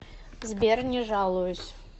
сбер не жалуюсь